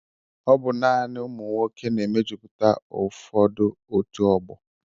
Ọbụ naanị ụmụ nwoke na-emejupụta ụfọdụ otu ọgbọ.